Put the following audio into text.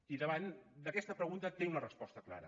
i davant d’aquesta pregunta tinc la resposta clara